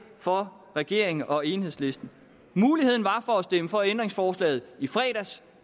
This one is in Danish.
for regeringen og enhedslisten muligheden var der for at stemme for ændringsforslaget i fredags